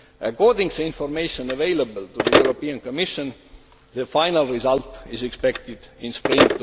According to information available to the European Commission, the final result is expected in spring